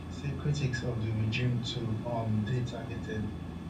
she say critics of di regime too um dey targeted